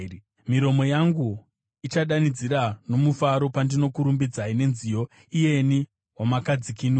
Miromo yangu ichadanidzira nomufaro pandinokurumbidzai nenziyo, iyeni, wamakadzikinura.